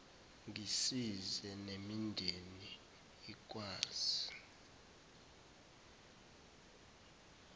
ngisize nemindeni ikwazi